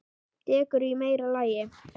Dekur í meira lagi.